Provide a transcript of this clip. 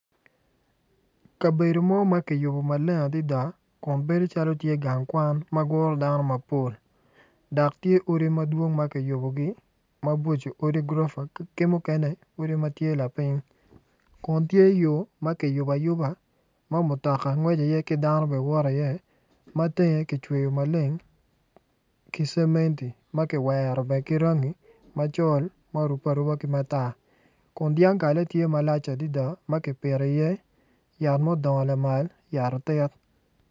Kabedo mo ma kiyubo maleng adada ma bedo calo tye gang kwan ma guro dano mapol dok tye odi madwong ma kiyubogi mabocco odi gurofa ki mukene odi ma tye lapiny kun tye yo ma kiyubo ayuba ma mutoka ngweco iye ki dano bene woto iye ma tenge kicweyo maleng ki cementi ma kiwero bene ki rangi macol ma orubbe aruba ki matar kun dyangkale tye malac adada ma kipito iye yat ma odongo lamal yat otit.